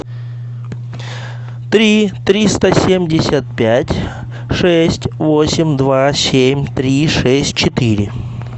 три триста семьдесят пять шесть восемь два семь три шесть четыре